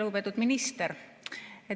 Lugupeetud minister!